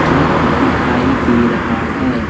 Truck दिखाई दे रहा है।